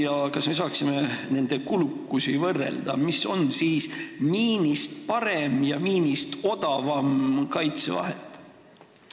Ja kas me saaksime nende kulukust võrrelda – mis on siis miinist parem ja odavam kaitsevahend?